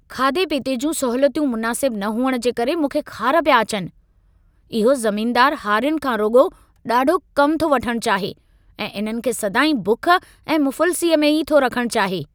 खाधे पीते जूं सहूलियतूं मुनासिबु न हुअण जे करे मूंखे ख़ार पिया अचनि। इहो ज़मीनदारु हारियुनि खां रुॻो ॾाढो कमु थो वठण चाहे ऐं इन्हनि खे सदाईं बुख ऐं मुफ़लिसीअ में ई थो रखण चाहे।